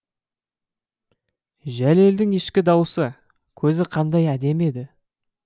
жәлелдің ішкі даусы көзі қандай әдемі еді